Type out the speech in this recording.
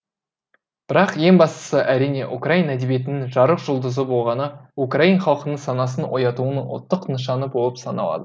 бірақ ең бастысы әрине украин әдебиетінің жарық жұлдызы болғаны украин халқының санасын оятуының ұлттық нышаны болып саналады